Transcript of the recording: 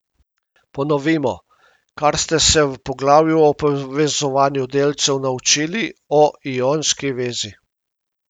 Ponovimo, kar ste se v poglavju o povezovanju delcev naučili o ionski vezi.